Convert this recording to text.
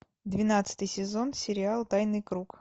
двенадцатый сезон сериал тайный круг